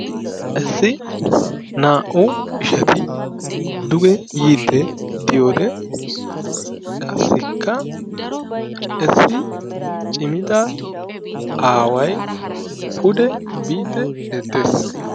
issi naa'u ishati duge yiiddi diyode qassi issi cimida aaway pude biiddi beettees.